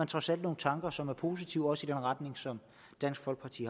trods alt nogle tanker som er positive også i den retning som dansk folkeparti